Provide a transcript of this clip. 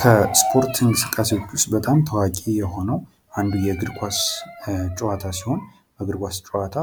ከስፖርት እንቅስቃሴዎች ውስጥ በጣም ታዋቂ የሆነው አንዱ የእግር ኳስ ጨዋታ ሲሆን የእግር ኳስ ጨዋታ